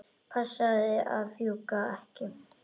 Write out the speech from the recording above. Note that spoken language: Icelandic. Passaðu að fjúka ekki.